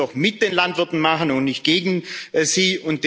Das müssen wir doch mit den Landwirten machen und nicht gegen sie.